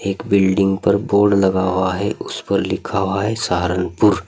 Building पर board लगा हुआ है उस पर लिखा हुआ है सहारनपुर।